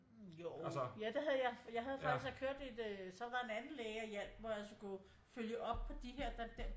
Jo ja der havde jeg jeg havde faktisk jeg kørte et øh så var der en anden læge der hjælp mig og skulle følge op på de her